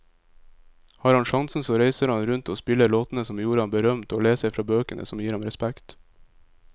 Har han sjansen så reiser han rundt og spiller låtene som gjorde ham berømt, og leser fra bøkene som gir ham respekt.